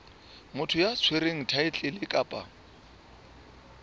motho ya tshwereng thaetlele kapa